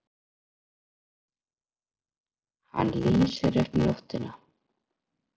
Hann lýsir upp nóttina.